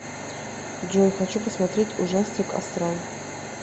джой хочу посмотреть ужастик астрал